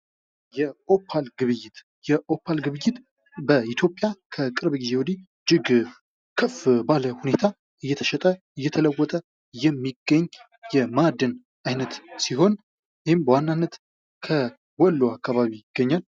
የኦፓል ግብይት፦ የኦፓል ግብይት በኢትዮጵያ ከቅርብ ጊዜ ወድህ እጅግ ከፍ ባለ ሁኔታ እየተሸጠ እየተለወጠ የሚገኝ የማዕድን አይነት ሲሆን ይህም በዋናነት ከወሎ አካባቢ ይገኛል።